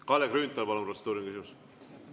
Kalle Grünthal, palun, protseduuriline küsimus!